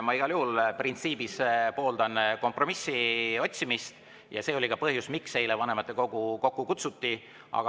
Ma igal juhul printsiibis pooldan kompromissi otsimist ja see oli ka põhjus, miks eile vanematekogu kokku kutsuti.